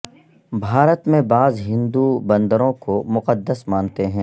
بھارت میں بعض ہندو بندروں کو مقدس مانتے ہیں